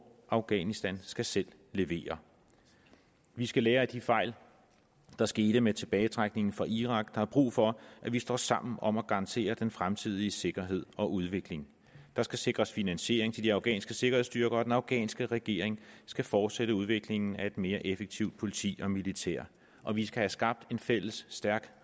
afghanistan skal selv levere vi skal lære af de fejl der skete med tilbagetrækningen fra irak der er brug for at vi står sammen om at garantere den fremtidige sikkerhed og udvikling der skal sikres finansiering til de afghanske sikkerhedsstyrker og den afghanske regering skal fortsætte udviklingen af et mere effektivt politi og militær og vi skal have skabt en fælles stærk